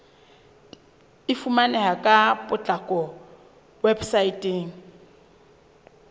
e fumaneha ka potlako weposaeteng